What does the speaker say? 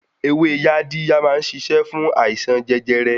Ewé Yaadiya má ń ṣiṣẹ́ fún àìsàn jẹjẹrẹ.